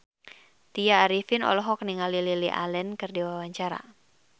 Tya Arifin olohok ningali Lily Allen keur diwawancara